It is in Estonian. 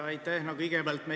Aitäh!